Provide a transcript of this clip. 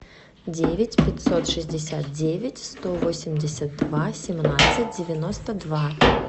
девять пятьсот шестьдесят девять сто восемьдесят два семнадцать девяносто два